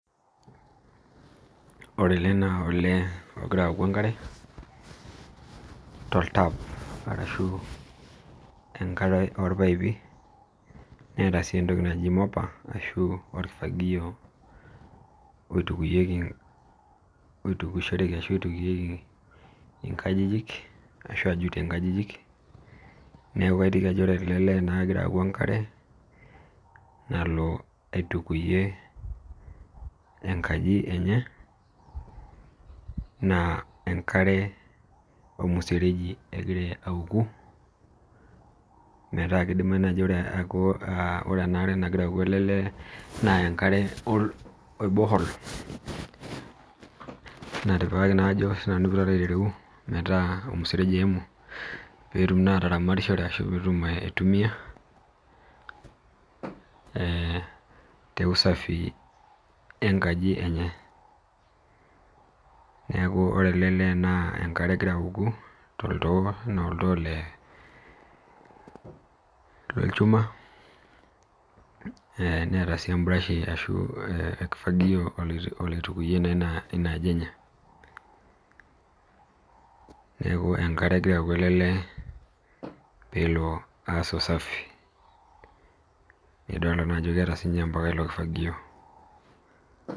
Ore ele naa olee ogira aoku enkare toltap ashu enkare orpaipi neeta sii entoki naji moper ashu orkifagio oitukishoreki ashu oitukieki nkajijik ashu ojutieki nkajijik neeku aiteki ajo ore ele Lee naa kegira aoku enkare nalo aitukuyie enkaji enye naa enkare ormuseregi egira aoku metaa kidimayu